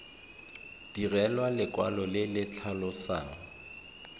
direlwa lekwalo le le tlhalosang